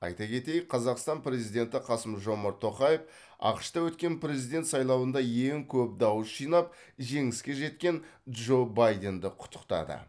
айта кетейік қазақстан президенті қасым жомарт тоқаев ақш та өткен президент сайлауында ең көп дауыс жинап жеңіске жеткен джо байденді құттықтады